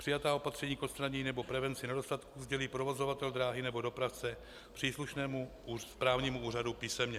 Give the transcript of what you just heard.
Přijatá opatření k odstranění nebo prevenci nedostatků sdělí provozovatel dráhy nebo dopravce příslušnému správnímu úřadu písemně."